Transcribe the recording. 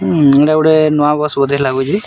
ଉଁ ଏଟା ଗୋଟେ ନୂଆ ବସ୍‌ ବୋଧେ ଲାଗୁଛେ ଆଉ--